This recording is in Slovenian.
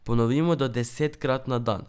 Ponovimo do desetkrat na dan.